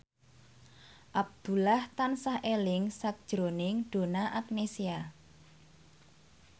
Abdullah tansah eling sakjroning Donna Agnesia